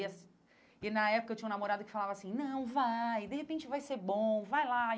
E assim e na época eu tinha um namorado que falava assim, não, vai, de repente vai ser bom, vai lá.